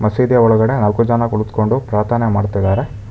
ಮಸೀದಿಯ ಒಳಗಡೆ ನಾಲ್ಕು ಜನ ಕುಳಿತ್ಕೊಂದು ಪ್ರಾರ್ಥನೆ ಮಾಡ್ತಿದ್ದಾರೆ.